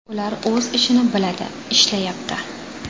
Ular o‘z ishini biladi, ishlashyapti.